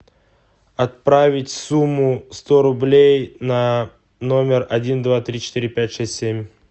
отправить сумму сто рублей на номер один два три четыре пять шесть семь